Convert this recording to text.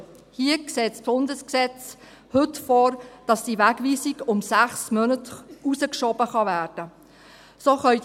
Hier sieht das Bundesgesetz heute vor, dass die Wegweisung um 6 Monate hinausgeschoben werden kann.